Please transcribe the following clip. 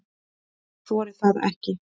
Ég þori það ekki.